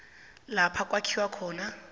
lapha kwakhiwa khona